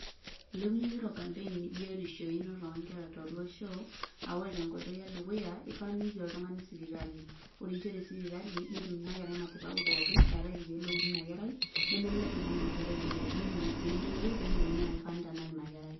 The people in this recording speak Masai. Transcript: Ilepunye zero campaign biotisho einoto onkera tolosho, ah ore tenkoitoi edukuya, ifaa niiki oltung'ani sipitali. Ore iisho tesipitali, netum inakerai matibabu pookin, eeate irkeek loudi inakerai, nemelelek ibung' inakerai imoyiaritin, nipimi si entoiwuoi peyiolouni enaa kifaa nitanak inakerai.